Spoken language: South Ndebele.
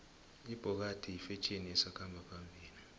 ibhokadi yifetjheni esakhamba phambili